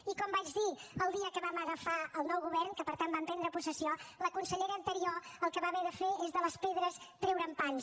i com vaig dir el dia que vam agafar el nou govern que per tant vam prendre possessió la consellera anterior el que va haver de fer és de les pedres treure’n pans